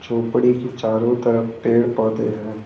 झोपड़ी के चारों तरफ पेड़ पौधे हैं।